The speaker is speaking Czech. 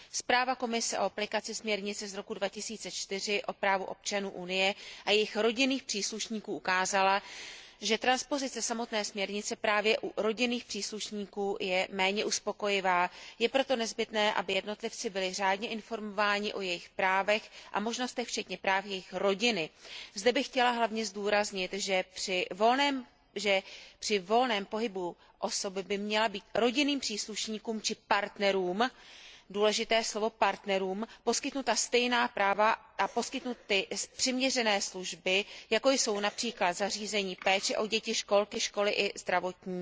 Zpráva Komise o aplikaci směrnice z roku 2004 o právu občanů Unie a jejich rodinných příslušníků ukázala, že transpozice samotné směrnice právě u rodinných příslušníků je méně uspokojivá. Je proto nezbytné, aby jednotlivci byli řádně informováni o jejich právech a možnostech včetně práv jejich rodiny. Zde bych chtěla hlavně zdůraznit, že při volném pohybu osob by měla být rodinným příslušníkům či partnerům, důležité slovo partnerům poskytnuta stejná práva a poskytnuty přiměřené služby, jako jsou například zařízení péče o děti, školky, školy, zdravotní